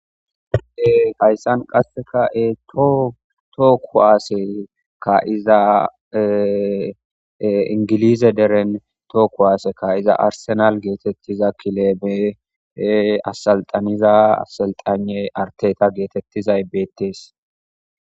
Hayssan qassekka toho kuwaase kaa7iza ingiliize deren toho kuwaase kaa7iza arsenaale geetettiza kileebe assalxaniza assekxaynne arteetta gizau beettees.